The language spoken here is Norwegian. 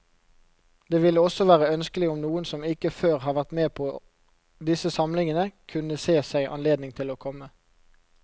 Det ville også være ønskelig om noen som ikke før har vært med på disse samlingene, kunne se seg anledning til å komme.